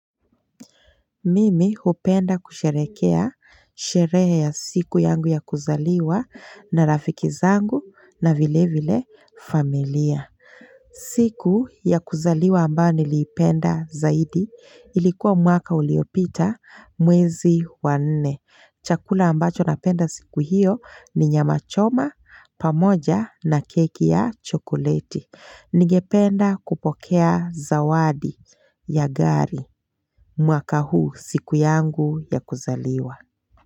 Mimi hupenda kusherekea, sherehe ya siku yangu ya kuzaliwa na rafiki zangu na vile vile familia. Siku ya kuzaliwa ambayo niliipenda zaidi, ilikuwa mwaka uliopita mwezi wa nne. Chakula ambacho napenda siku hiyo ni nyama choma pamoja na keki ya chokoleti. Ningependa kupokea zawadi ya gari. Mwaka huu, siku yangu ya kuzaliwa.